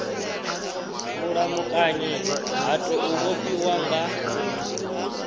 mulamukanyi ha tou vhofhiwa nga